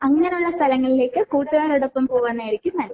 അങ്ങനെയുള്ള സ്ഥലങ്ങളിലേക്ക് കൂട്ടുകാരോടൊപ്പം പൂവ്വന്നായിരിക്കും നല്ലത്